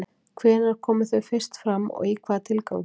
Hvenær komu þau fyrst fram og í hvaða tilgangi?